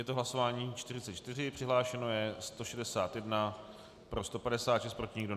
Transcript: Je to hlasování 44, přihlášeno je 161, pro 156, proti nikdo.